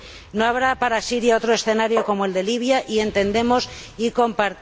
No habrá para Siria otro escenario como el de Libia y entendemos y compartimos...